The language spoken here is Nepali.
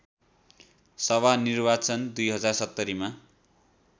सभा निर्वाचन २०७० मा